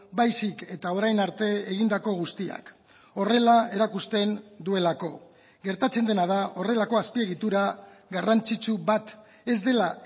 baizik eta orain arte egindako guztiak horrela erakusten duelako gertatzen dena da horrelako azpiegitura garrantzitsu bat ez dela